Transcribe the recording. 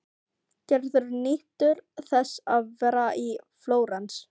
Gerður nýtur þess að vera í Flórens.